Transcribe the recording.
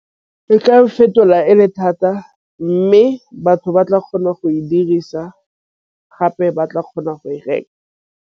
Fetola e le thata mme batho ba tla kgona go e dirisa gape ba tla kgona go e reka.